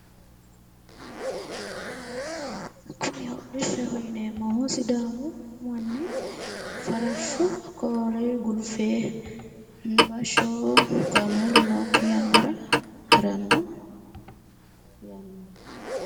kuni hodhishshaho yineemmohu sidaamu manni farashsho koore gulufe bashsho kaameelu nookki yannara haranno yannaati.